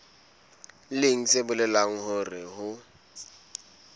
leng se bolelang hore ho